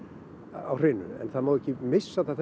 á hreinu en það má ekki missa það